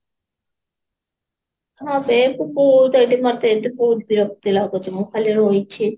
ହଁ ଏଇଠି ବହୁତ ମୋତେ ଏଠି ବହୁତ ବିରକ୍ତି ଲାଗୁଛି ମୁଁ ଖାଲି ରହିଛି